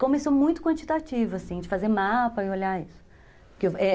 Começou muito quantitativo, assim, de fazer mapa e olhar isso que